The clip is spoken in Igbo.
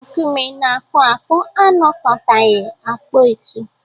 Nkume na-akpụ akpụ anakọtaghị akpaetu